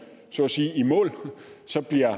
så at sige i mål så bliver